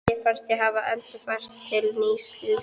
Mér fannst ég hafa endurfæðst til nýs lífs.